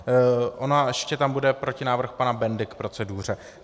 On ještě tam bude protinávrh pana Bendy k proceduře.